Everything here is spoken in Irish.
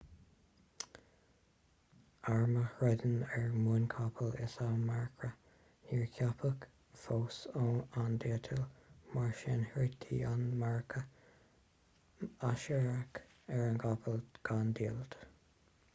arm a throideann ar muin capaill is ea marcra níor ceapadh fós an diallait mar sin throidtí an marcra aisiriach ar a gcapaill gan diallait